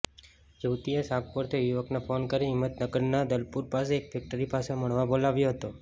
યુવતીએ સાગપુરથી યુવકને ફોન કરી હિમતનગરના દલપુર પાસે એક ફેક્ટરી પાસે મળવા બોલાવ્યો હતો